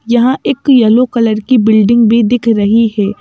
यहां एक yellow colour की बिल्डिंग भी दिख रही है।